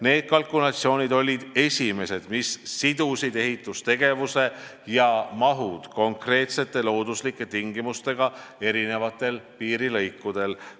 Need kalkulatsioonid olid esimesed, kus seoti ehitustegevus ja -maht konkreetsete looduslike tingimustega eri piirilõikudel.